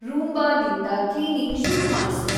ರೂಂಬಾದಿಂದ cleaning ಶುರು ಮಾಡ್ಸು